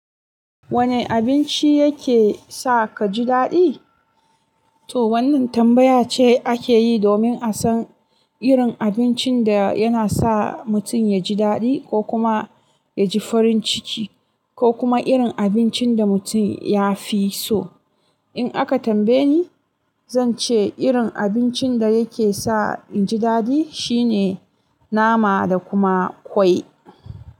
Wane abinci yake sa ka ji daɗi? To wannan tambaya ce ake yi domin a san irin abincin da yana sa mutum ya ji daɗi ko kuma ya ji farin ciki ko kuma irin abincin da mutum ya fi so. In aka tambaye ni, zan ce irin abincin da yake sa in ji daɗi shine nama da kuma kwai.